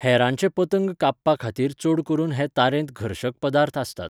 हेरांचे पतंग कापपाखातीर चड करून हे तारेंत घर्शक पदार्थ आसतात.